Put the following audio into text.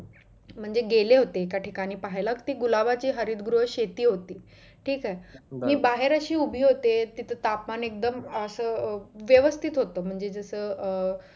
म्हणजे गेले होते एका ठिकांणी पाहायला गुलाबाची हरित गृह शेती होती ठीक आहे बाहेर अशी उभी होती ते तिथं तापमान एकदम असं व्यवस्तिथ होत म्हणजे जसं अं